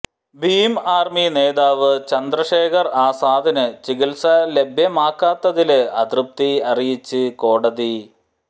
Bhim Army നേതാവ് ചന്ദ്രശേഖര് ആസാദിന് ചികിത്സ ലഭ്യമാക്കാത്തതില് അതൃപ്തി അറിയിച്ച് കോടതി